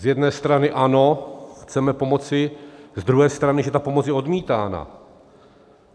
Z jedné strany ano, chceme pomoci, z druhé strany, že ta pomoc je odmítána.